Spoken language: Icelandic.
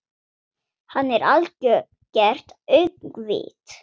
Hann er algert öngvit!